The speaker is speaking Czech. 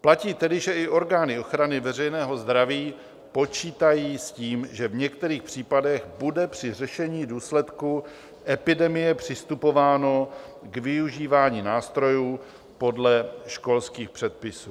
Platí tedy, že i orgány ochrany veřejného zdraví počítají s tím, že v některých případech bude při řešení důsledku epidemie přistupováno k využívání nástrojů podle školských předpisů.